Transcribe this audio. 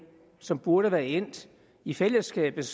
som burde være endt i fællesskabets